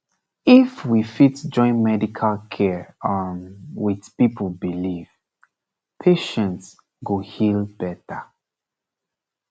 if we fit join medical care um with people belief patient go heal better